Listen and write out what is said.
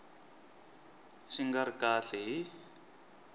xi nga ri kahle hi